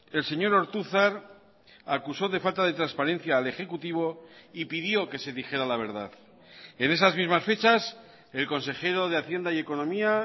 el señor ortuzar acusó de falta de transparencia al ejecutivo y pidió que se dijera la verdad en esas mismas fechas el consejero de hacienda y economía